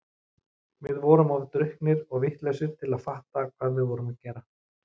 Við vorum of drukknir og vitlausir til að fatta hvað við vorum að gera.